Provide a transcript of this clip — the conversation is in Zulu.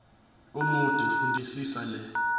omude fundisisa le